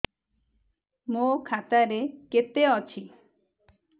ମୋ ଖାତା ରେ କେତେ ଅଛି